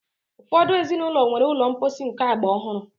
Ụfọdụ ezinụlọ nwere ụlọ mposi nke agba ọhụrụ.